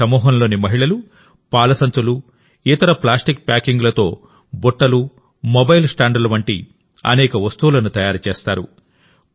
ఈ సమూహంలోని మహిళలు పాల సంచులు ఇతర ప్లాస్టిక్ ప్యాకింగ్లతో బుట్టలు మొబైల్ స్టాండ్ల వంటి అనేక వస్తువులను తయారు చేస్తారు